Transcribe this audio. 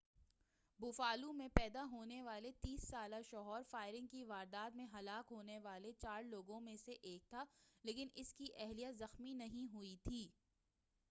Buffalo میں پیدا ہونے والا 30 سالہ شوہر فائرنگ کی واردات میں ہلاک ہونے والے چار لوگوں میں سے ایک تھا لیکن اس کی اہلیہ زخمی نہیں ہوئی تھی